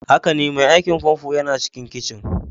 Haka ne, mai aikin famfo yana cikin kicin.